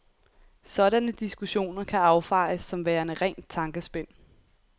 Sådanne diskussioner kan affejes som værende rent tankespind.